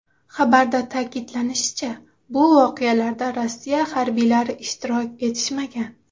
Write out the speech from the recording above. Xabarda ta’kidlanishicha, bu voqealarda Rossiya harbiylari ishtirok etishmagan.